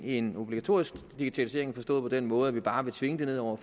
en obligatorisk digitalisering forstået på den måde at vi bare vil tvinge det ned over